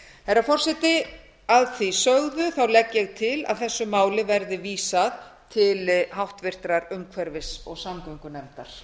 herra forseti að því sögðu legg ég til að þessu máli verði vísað til háttvirtrar umhverfis og samgöngunefndar